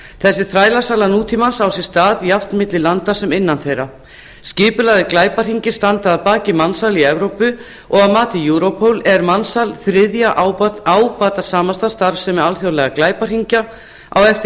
þessi þrælasala nútímans á sér stað jafnt milli landa sem innan þeirra skipulagðir glæpahringir standa að baki mansali í evrópu og að mati europol er mansal þriðja ábatasamasta starfsemi alþjóðlegra glæpahringja á eftir